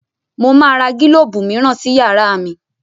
Mo máa ra gílóbù mìíràn sí yàrá mi